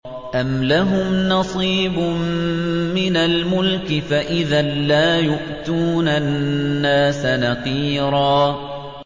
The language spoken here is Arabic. أَمْ لَهُمْ نَصِيبٌ مِّنَ الْمُلْكِ فَإِذًا لَّا يُؤْتُونَ النَّاسَ نَقِيرًا